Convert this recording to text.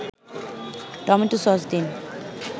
tomato sauce দিন